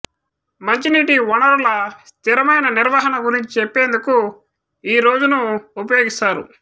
మంచినీటి వనరుల స్థిరమైన నిర్వహణ గురించి చెప్పేందుకు ఈ రోజును ఉపయోగిస్తారు